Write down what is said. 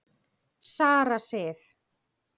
Sara Sif.